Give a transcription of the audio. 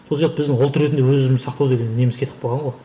сол сияқты біздің ұлт ретінде өзі өзімізді сақтау деген неміз кетіп қалған ғой